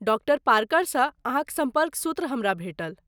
Doctor पार्करसँ अहाँक सम्पर्क सूत्र हमरा भेटल।